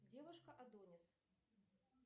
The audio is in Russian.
девушка адонис